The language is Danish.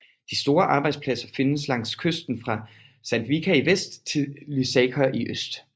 De store arbejdspladser findes langs kysten fra Sandvika i vest til Lysaker i øst